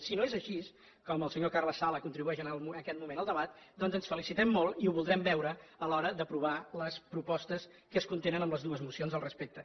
si no és així com el senyor carles sala contribueix en aquest moment al debat doncs ens felicitem molt i ho voldrem veure a l’hora d’aprovar les propostes que contenen les dues mocions al respecte